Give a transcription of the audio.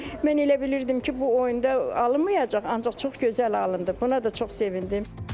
Mən elə bilirdim ki, bu oyunda alınmayacaq, ancaq çox gözəl alındı, buna da çox sevindim.